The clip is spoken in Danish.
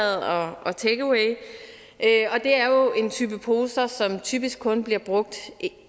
og takeaway det er jo en type poser som typisk kun bliver brugt